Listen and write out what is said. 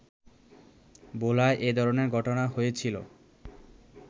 ভোলায় এধরনের ঘটনা হয়েছিলো